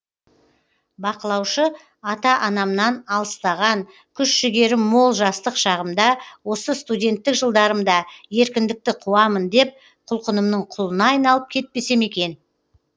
бақылаушы ата анамнан алыстаған күш жігерім мол жастық шағымда осы студенттік жылдарымда еркіндікті қуамын деп құлқынымның құлына айналып кетпесем екен